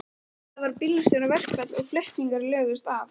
Það var bílstjóraverkfall og flutningar lögðust af.